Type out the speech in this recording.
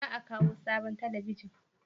Za a kawo sabon talabijin?